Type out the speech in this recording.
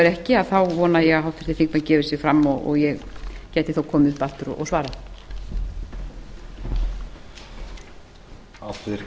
er ekki þá vona ég að háttvirtir þingmenn gefi sig fram og ég geti þá komið upp aftur og svarað